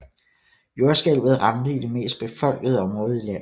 Jordskælvet ramte i det mest befolkede område i landet